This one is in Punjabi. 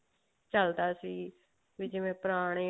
ਚਲਦਾ ਸੀ ਵੀ ਜਿਵੇਂ ਪੁਰਾਣੇ